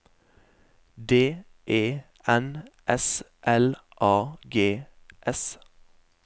D E N S L A G S